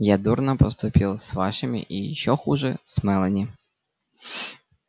я дурно поступил с вашими и ещё хуже с мелани